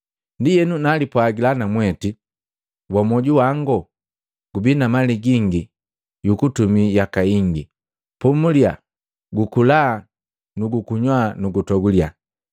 Ndienu najipwagila namweti, ‘Wamwoju wango! Gubi na mali gingi yukutumii yaka ingi. Pomuliya, gukula na gukunywa na gutogulya!’